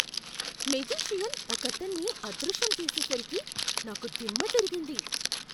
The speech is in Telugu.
మెజీషియన్ ఒకతన్ని అదృశ్యం చేసేసరికి నాకు దిమ్మ తిరిగింది!